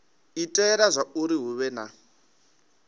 itela zwauri hu vhe na